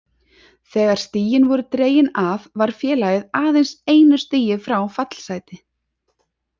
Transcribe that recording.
Þegar stigin voru dregin af var félagið aðeins einu stigi frá fallsæti.